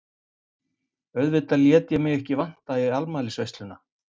Auðvitað lét ég mig ekki vanta í afmælisveisluna.